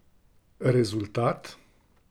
Rezultat?